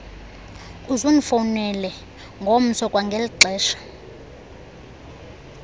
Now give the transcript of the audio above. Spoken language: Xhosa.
uzundifowunele ngomso kwangelixesha